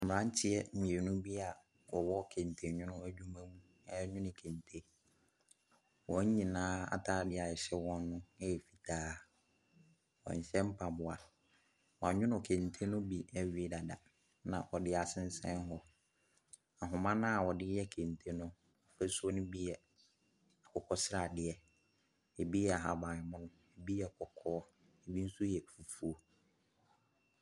Mmeranteɛ mmienu bi a wɔwɔ kentenwono adwuma mu renwene kente. Wɔn nyinaa atade a ɛhyɛ wɔn no yɛ fitaa. Wɔnhyɛ mpaboa. Wɔanwomo kente no bi awie dada na wɔde asensɛn hɔ. Ahoma no a wɔde yɛ kente no ahosuo no bi yɛ akokɔ sradeɛ, ebi yɛ ahaban mono, ebi yɛ kɔkɔɔ, ebi nso yɛ fufuo.